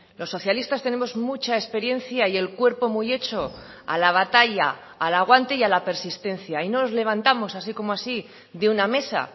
los socialistas tenemos mucha experiencia y el cuerpo muy hecho a la batalla al aguante y a la persistencia y no nos levantamos así como así de una mesa